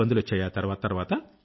ఇబ్బందులొచ్చాయా తర్వాత